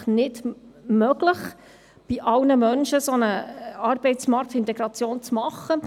Es ist nicht möglich, bei allen Menschen eine Arbeitsintegration zu erreichen.